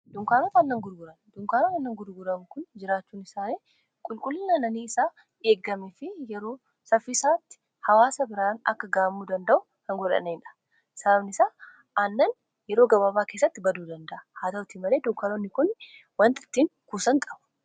Dunkaanoota aannan gurguran dunkaanoota aannan gurguran kun jiraachuun isaanii qulqullina annanii isaa eeggame fi yeroo saffisaatti hawaasa biraan akka gahamuu danda'u kan godhanidha, sababni isaa aannan yeroo gababaa keessatti baduu danda'a haa ta'utii malee dunkaanoonni kun wantiittiin kuusaan qabu.